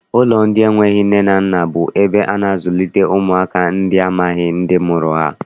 Ụlọ ndị enweghị nne na nna bụ ebe a na-azụlite ụmụaka ndị amaghị ndị mụrụ ha.